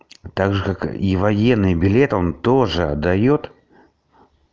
также как и военный билет он тоже отдаёт